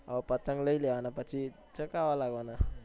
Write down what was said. હા પતંગ લઇ લેવાના પછી ચગાવા લાગવાના